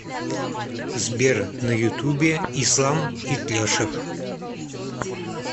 сбер на ютубе ислам итляшев